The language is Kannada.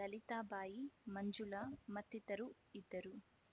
ಲಲಿತಾ ಬಾಯಿ ಮಂಜುಳ ಮತ್ತಿತರು ಇದ್ದರು